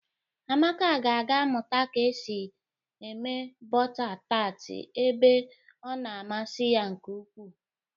Amaka ga-aga Mụta ka esi eme bọta tat ebe ọ na a masi ya nke ukwu.